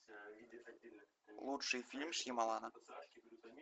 лучший фильм шьямалана